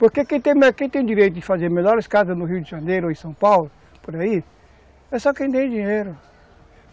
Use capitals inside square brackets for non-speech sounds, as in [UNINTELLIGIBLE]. Porque quem tem [UNINTELLIGIBLE] quem tem direito de fazer melhores casas no Rio de Janeiro ou em São Paulo, por aí, é só quem tem dinheiro.